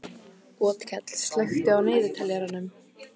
Otkell, slökktu á niðurteljaranum.